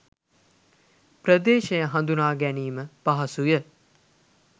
ප්‍රදේශය හඳුනා ගැනීම පහසුය